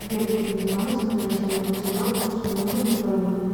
сбер переведи маме с назначением платежа вкусный ужин на двоих